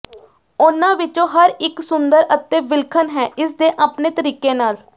ਉਨ੍ਹਾਂ ਵਿਚੋਂ ਹਰ ਇਕ ਸੁੰਦਰ ਅਤੇ ਵਿਲੱਖਣ ਹੈ ਇਸ ਦੇ ਆਪਣੇ ਤਰੀਕੇ ਨਾਲ